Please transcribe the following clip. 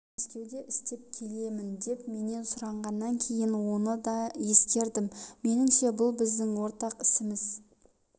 мәскеуде істеп келемін деп менен сұрағаннан кейін оны да ескердім меніңше бұл біздің ортақ ісіміз